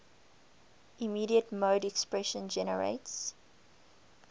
immediate mode expression generates